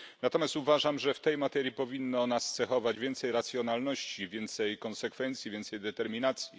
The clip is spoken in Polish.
Natomiast uważam, że w tej materii powinno nas cechować więcej racjonalności, więcej konsekwencji, więcej determinacji.